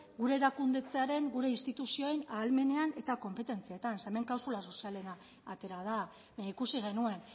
gure erakundetzearen gure instituzioen ahalmenean eta konpetentzietan zeren eta hemen klausula sozialena atera da ikusi genuen